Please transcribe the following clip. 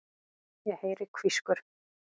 Ég heyri hvískur.